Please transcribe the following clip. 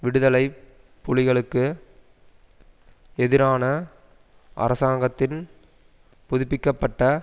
விடுதலை புலிகளுக்கு எதிரான அரசாங்கத்தின் புதுப்பிக்க பட்ட